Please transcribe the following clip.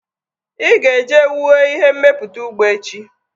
Ị ga-eje wue ihe mmepụta ụgbọ echi!